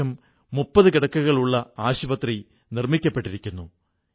നമ്മുടെ പല കളികളും ലോകത്തെ ആകർഷിക്കുന്നു